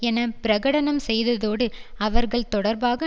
என பிரகடனம் செய்ததோடு அவர்கள் தொடர்பாக